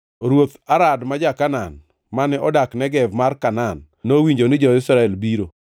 Ruoth Arad ma ja-Kanaan, mane odak Negev mar Kanaan, nowinjo ni jo-Israel biro.